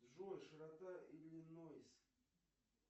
джой широта иллинойс